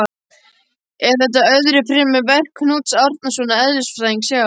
Er þetta öðru fremur verk Knúts Árnasonar eðlisfræðings hjá